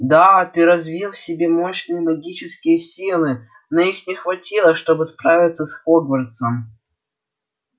да ты развил в себе мощные магические силы но их не хватило чтобы справиться с хогвартсом